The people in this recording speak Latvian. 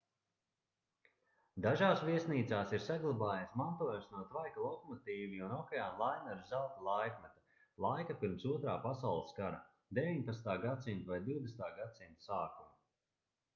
dažās viesnīcās ir saglabājies mantojums no tvaika lokomotīvju un okeāna laineru zelta laikmeta laika pirms otrā pasaules kara 19. gs vai 20. gs sākuma